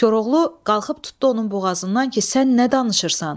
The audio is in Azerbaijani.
Koroğlu qalxıb tutdu onun boğazından ki, sən nə danışırsan?